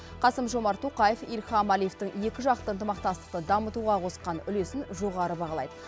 қасым жомарт тоқаев ильхам әлиевтің екіжақты ынтымақтастықты дамытуға қосқан үлесін жоғары бағалайды